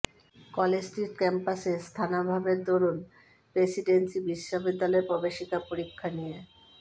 college Street ক্যাম্পাসে স্থানাভাবের দরুন প্রেসিডেন্সি বিশ্ববিদ্যালয়ের প্রবেশিকা পরীক্ষা নিয়ে